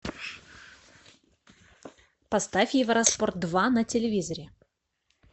поставь евроспорт два на телевизоре